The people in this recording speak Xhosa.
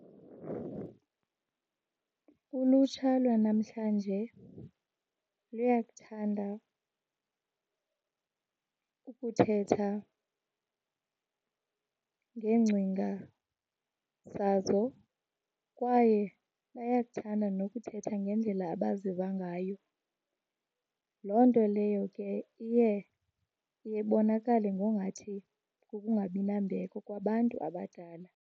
Ulutsha lwanamhlanje luyakuthanda ukuthetha ngeengcinga zazo kwaye bayakuthanda nokuthetha ngendlela abaziva ngayo. Loo nto leyo ke iye iye ibonakale ngongathi kukungabi nambeko kwabantu abadala.